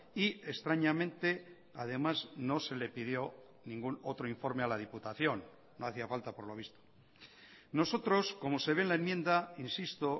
y extrañamente además no se le pidió ningún otro informe a la diputación no hacía falta por lo visto nosotros como se ve en la enmienda insisto